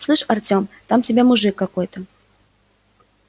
слышь артём там тебя мужик какой-то